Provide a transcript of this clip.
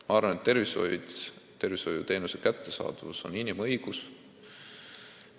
Ma arvan, et arstiabi kättesaadavus on inimõigus.